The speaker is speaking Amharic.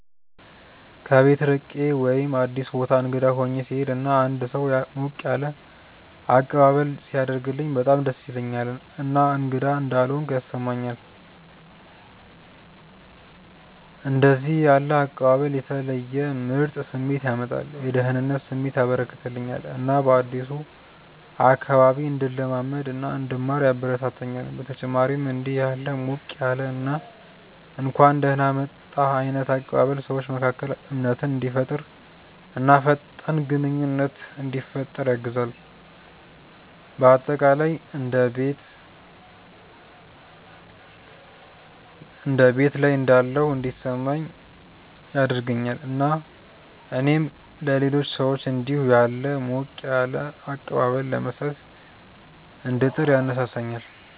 ከቤት ርቄ ወይም አዲስ ቦታ እንግዳ ሆኜ ስሄድ እና አንድ ሰው ሞቅ ያለ አቀባበል ሲያደርግልኝ በጣም ደስ ይለኛል እና እንግዳ እንዳልሆንኩ ያስሰማኛል። እንደዚህ ያለ አቀባበል የተለየ ምርጥ ስሜት ያመጣል፤ የደህንነት ስሜት ያበረከተልኛል እና በአዲሱ አካባቢ እንድለማመድ እና እንድማር ያበረታታኛል። በተጨማሪም እንዲህ ያለ ሞቅ ያለ እና እንኳን ደህና መጣህ ዓይነት አቀባበል ሰዎች መካከል እምነትን እንዲፈጠር እና ፈጣን ግንኙነት እንዲፈጠር ያግዛል። በአጠቃላይ እንደ ቤት ላይ እንዳለሁ እንዲሰማኝ ያደርገኛል እና እኔም ለሌሎች ሰዎች እንዲሁ ያለ ሞቅ ያለ አቀባበል ለመስጠት እንድጥር ያነሳሳኛል።